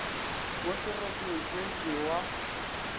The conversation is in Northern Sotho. mo seretong se ke wa